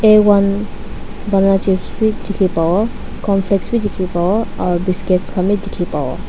aone bala chips bi dikhi pawo cornflakes bi dikhi pawo aro biscuit khan bi dikhipawo.